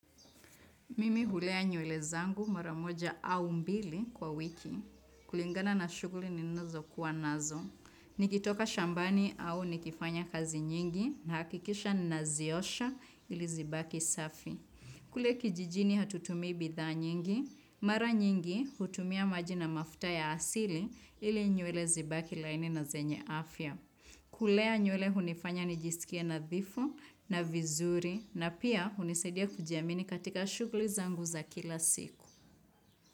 Mimi hulea nyule zangu mara moja au mbili kwa wiki. Kulingana na shughuli ninazo kuwa nazo. Nikitoka shambani au nikifanya kazi nyingi, nahakikisha naziosha ili zibaki safi. Kule kijijini hatutumii bidha nyingi. Mara nyingi, hutumia maji na mafuta ya asili ili nywele zibaki laini na zenye afya. Kulea nywele hunifanya nijisikie nadhifu na vizuri na pia, hunisaidia kujiamini katika shughuli zangu za kila siku.